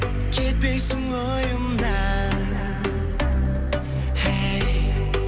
кетпейсің ойымнан хей